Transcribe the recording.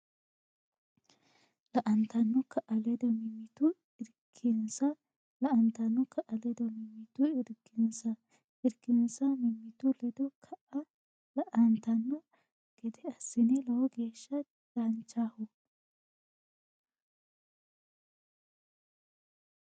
lantanno kaa ledo mimmitu irkisinsa lantanno kaa ledo mimmitu irkisinsa irkisinsa mimmitu ledo kaa lantanno gede assinsa Lowo geeshsha danchaho !